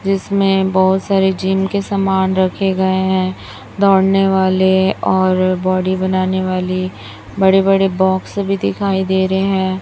जिसमें बहोत सारे जिम के समान रखे गए हैं दौड़ने वाले और बॉडी बनाने वाले बड़े बड़े बॉक्स भी दिखाई दे रहे हैं।